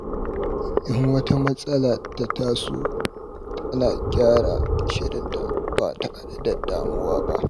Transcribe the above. Idan wata matsala ta taso, tana gyara shirinta ba tare da damuwa ba.